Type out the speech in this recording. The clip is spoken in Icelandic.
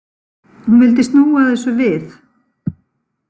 Hún vildi snúa þessu við.